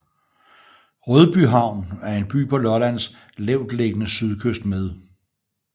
Rødbyhavn er en by på Lollands lavtliggende sydkyst med